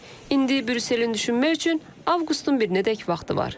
İndi Brüsselin düşünmək üçün avqustun birinədək vaxtı var.